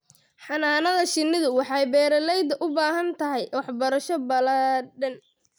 Xannaanada shinnidu waxay beeralayda u baahan tahay waxbarasho ballaadhan.